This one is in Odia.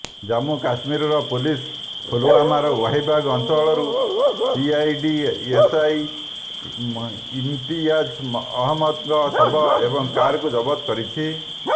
ଜାମ୍ମୁ କାଶ୍ମୀର ପୁଲିସ୍ ପୁଲୱାମାର ୱାହିବାଗ ଅଞ୍ଚଳରୁ ସିଆଇଡି ଏସ୍ଆଇ ଇମ୍ତିୟାଜ ଅହମଦଙ୍କ ଶବ ଏବଂ କାରକୁ ଜବତ କରିଛି